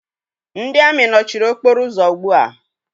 Ndị amị nọchiri okporo ụzọ ugbua.